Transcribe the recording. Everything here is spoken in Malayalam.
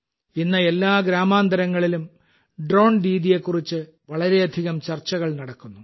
ഇന്ന് എല്ലാ ഗ്രാമാന്തരങ്ങളിലും ഡ്രോൺ ദീദിയെക്കുറിച്ച് വളരെയധികം ചർച്ചകൾ നടക്കുന്നു